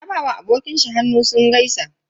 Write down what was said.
Ya ba wa abokin shi hannu sun gaisa.